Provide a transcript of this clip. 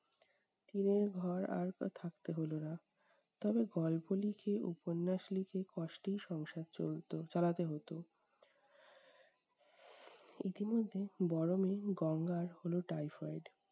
টিনের ঘর আর থাকতে হলো না, তবে গল্প লিখে, উপন্যাস লিখে কষ্টেই সংসার চলত চালাতে হতো। ইতিমধ্যে বড়ো মেয়ে গঙ্গার হলো typhoid